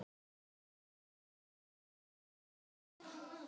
Fyrsta maí.